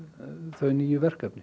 þau nýju verkefni